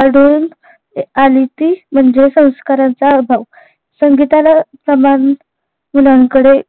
आढळून आली ती म्हणजे संस्कारांचा अभाव सांगितलं समान मुलांकडे